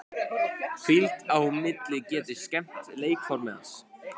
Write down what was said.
Hvíld á milli getur skemmt leikformið hans.